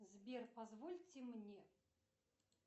сбер позвольте мне